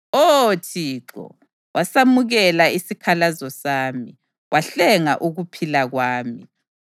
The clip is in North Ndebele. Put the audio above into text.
Oh Thixo, wasamukela isikhalazo sami; wahlenga ukuphila kwami.